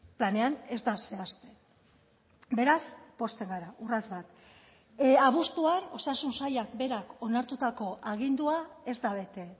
planean ez da zehazten beraz pozten gara urrats bat abuztuan osasun sailak berak onartutako agindua ez da bete